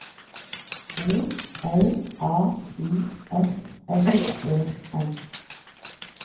O L A U S S E N